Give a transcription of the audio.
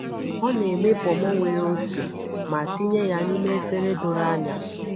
Ọ na-eme ponmo nwere ose ma tinye ya n’ime efere doro anya.